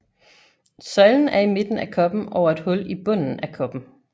Søjlen er i midten af koppen over et hul i bunden af koppen